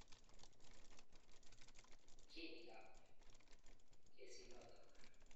Kiniikab kesinotok